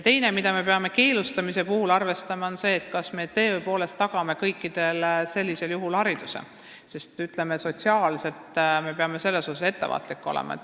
Teine asi, mida me peame keelustamise puhul arvestama, on see, kas me tõepoolest tagame sellisel juhul kõikidele hariduse, ütleme, sotsiaalses tähenduses me peame siin ettevaatlikud olema.